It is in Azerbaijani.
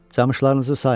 Camışlarınızı sayın,